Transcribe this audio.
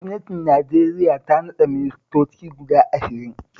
Gwamnatin Najeriya ta naɗa ministoci guda ashirin